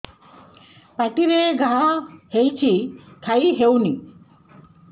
ପାଟିରେ ଘା ହେଇଛି ଖାଇ ହଉନି